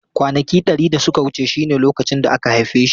Kwanaki dari da suka wuce shine lokacin da aka haife shi.